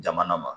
Jamana ma